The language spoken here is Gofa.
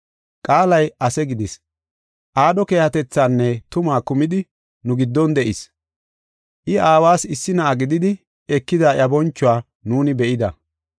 Qaalay ase gidis; aadho keehatethaanne tumaa kumidi nu giddon de7is. I aawas issi na7aa gididi ekida iya bonchuwa nuuni be7ida.